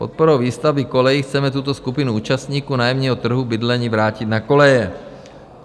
Podporou výstavby kolejí chceme tuto skupinu účastníků nájemního trhu bydlení vrátit na koleje.